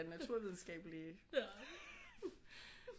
Naturvidenskabelige